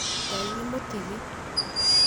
Ngai nĩ mũtigi.